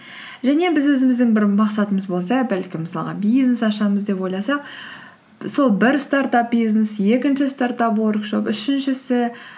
және біз өзіміздің бір мақсатымыз болса бәлкім мысалға бизнес ашамыз деп ойласақ сол бір стартап бизнес екінші стартап уоркшоп үшіншісі